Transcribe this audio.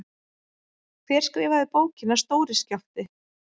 Hver skrifaði bókina Stóri skjálfti?